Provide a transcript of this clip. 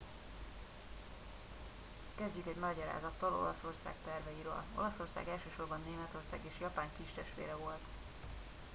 "kezdjük egy magyarázattal olaszország terveiről. olaszország elsősorban németország és japán "kistestvére" volt.